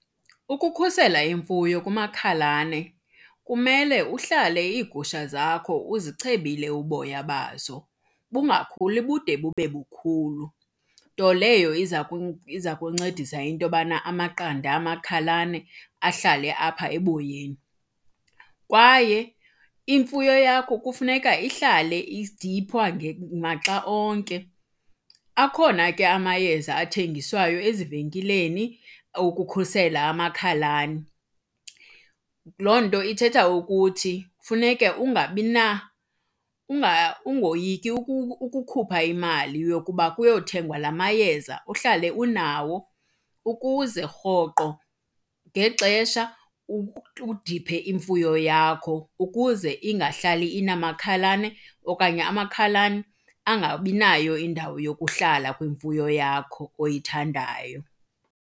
Ukukhusela imfuyo kumakhalane kumele uhlale iigusha zakho uzichebile uboya bazo, bungakhuli bude bube bukhulu. Nto leyo iza iza kuncedisa into yobana amaqanda amakhalane ahlale apha eboyeni. Kwaye imfuyo yakho kufuneka ihlale idiphwa maxa onke. Akhona ke amayeza athengiswayo ezivenkileni okukhusela amakhalane. Loo nto ithetha ukuthi funeke ungabi ungoyiki ukukhupha imali yokuba kuyothengwa lama yeza uhlale unawo ukuze rhoqo ngexesha udiphe imfuyo yakho ukuze ingahlali inamakhalane okanye amakhalane angabi nayo indawo yokuhlala kwimfuyo yakho oyithandayo.